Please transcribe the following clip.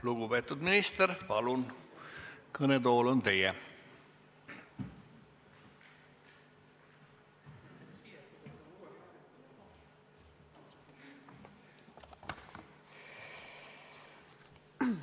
Lugupeetud minister, palun, kõnetool on teie!